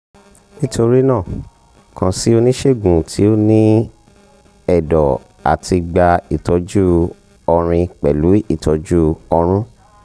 nitorina kan si onisegun ti o ni ẹdọ ati gba itọju ọrin pẹlu itọju ọrun